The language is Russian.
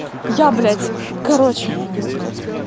я блядь короче